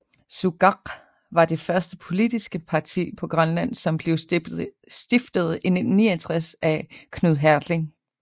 Sukaq var det første politiske parti på Grønland som blev stiftet i 1969 af Knud Hertling